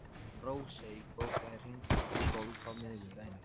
Rósey, bókaðu hring í golf á miðvikudaginn.